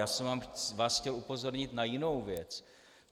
Já jsem vás chtěl upozornit na jinou věc.